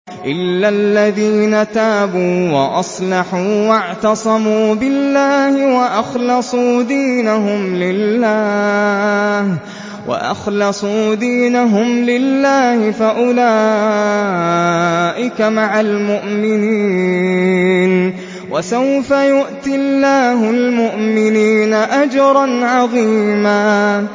إِلَّا الَّذِينَ تَابُوا وَأَصْلَحُوا وَاعْتَصَمُوا بِاللَّهِ وَأَخْلَصُوا دِينَهُمْ لِلَّهِ فَأُولَٰئِكَ مَعَ الْمُؤْمِنِينَ ۖ وَسَوْفَ يُؤْتِ اللَّهُ الْمُؤْمِنِينَ أَجْرًا عَظِيمًا